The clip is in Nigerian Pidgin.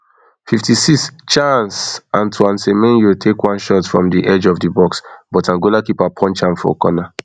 fifty-six chaaanceantoine semenyo take one shot from di edge of di box but angola keeper punch am for corner